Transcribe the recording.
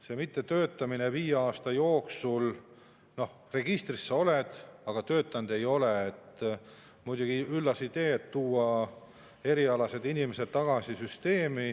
See mittetöötamine viie aasta jooksul, et registris sa oled, aga töötanud ei ole, on muidugi üllas idee, sest tuua erialase inimesed tagasi süsteemi.